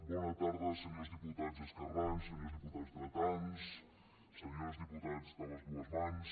bona tarda senyors diputats esquerrans senyors diputats dretans senyors diputats de les dues mans